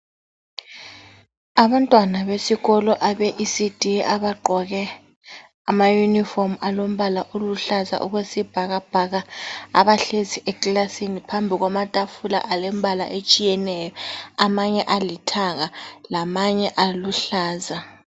Abantwana besikolo abe ecd abagqoke ama uniform alombala oluhlaza okwesibhakabhaka, abahlezi eclassini phambi kwamatafula alembala etshiyeneyo. Amanye alithanga , lamanye aluhlaza .